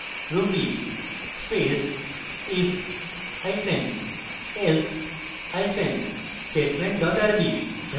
ruby space if hyphen else hyphen statement dot rb